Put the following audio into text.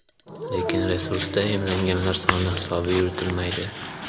Lekin resursda emlanganlar soni hisobi yuritilmaydi.